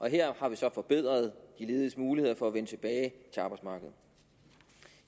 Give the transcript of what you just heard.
her har vi så forbedret de lediges muligheder for at vende tilbage til arbejdsmarkedet